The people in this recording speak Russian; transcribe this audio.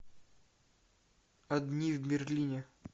одни в берлине